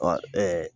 Ɔ ɛɛ